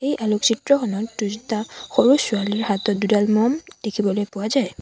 এই আলোকচিত্ৰখনত দুটা সৰু ছোৱালীৰ হাতত দুডাল মম দেখিবলৈ পোৱা যায়।